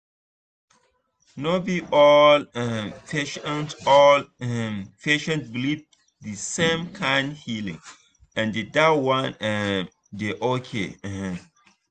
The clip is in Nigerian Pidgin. no be all um patient all um patient believe for the same kind healing and that one um dey okay um